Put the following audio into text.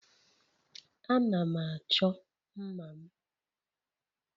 Ana m achọ mma' m.